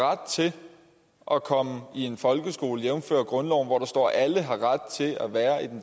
ret til at komme i en folkeskole jævnfør grundloven hvor der står at alle har ret til at være